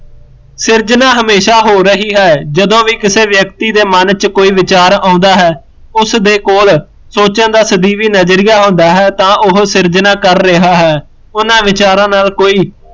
ਸਿਰਜਣਾ ਹਮੇਸ਼ਾ ਹੋ ਰਹੀਂ ਹੈ ਜਦੋਂ ਵੀ ਕਿਸੇ ਵਿਅਕਤੀ ਦੇ ਮਨ ਵਿੱਚ ਵਿਚਾਰ ਆਉਂਦਾ ਹੈ, ਉਸਦੇ ਕੋਲ, ਸੋਚਣ ਦਾ ਸਦੀਵੀ ਨਜ਼ਰੀਆ ਹੁੰਦਾ ਹੈ ਤਾਂ ਉਹ ਸਿਰਜਣਾ ਕਰ ਰਿਹਾ ਹੈ, ਉਹਨਾਂ ਵਿਚਾਰਾ ਨਾਲ਼ ਕੋਈ